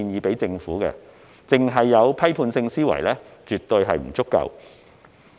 單單具備批判性思維是絕不足夠的。